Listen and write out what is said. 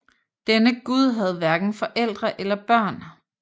Denne gud havde hverken forældre eller børn